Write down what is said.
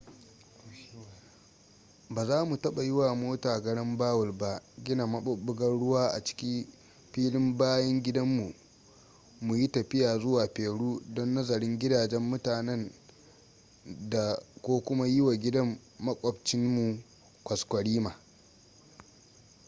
ba za mu taɓa yi wa mota garambawul ba gina maɓuɓɓugar ruwa a ciki filin bayan gidan mu mu yi tafiya zuwa peru don nazarin gidajen mutanen dā ko kuma yi wa gidan maƙwabtcin mu kwaskwarima